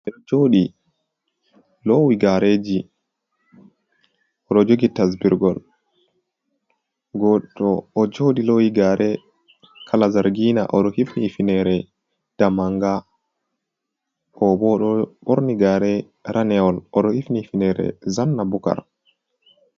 Ɓeɗo joɗi lowi gareji oɗo jogi tasburgol goto ɗo joɗi lowi gare kala zargina oɗo hifni hufinere damanga, oɗo bo ɗo ɓorni gare raneol oɗo hifni hufinere zanna bukar.